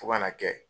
Fo ka na kɛ